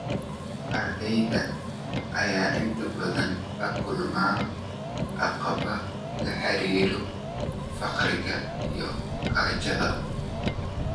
Ardayda ayaa inta badan la kulma caqabado la xiriira faqriga iyo gaajada.